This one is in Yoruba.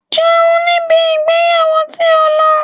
Jẹun ní ibi ìgbéyàwó tí ò ń lọ!